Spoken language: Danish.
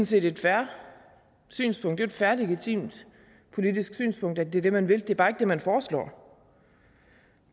set et fair synspunkt et fair og legitimt politisk synspunkt at det er det man vil det er bare ikke det man foreslår